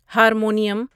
harmonium